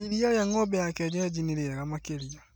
Iria rĩa ng'ombe wa kĩenyeji nĩ rĩega makĩria